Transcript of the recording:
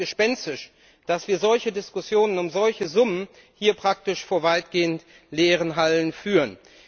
Es ist fast gespenstisch, dass wir solche Diskussionen um solche Summen hier praktisch vor weitgehend leeren Hallen führen.